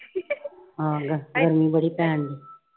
ਆਹ ਗਰਮੀ ਬੜੀ ਪੈਣ ਡਈ।